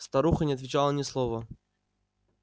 старуха не отвечала ни слова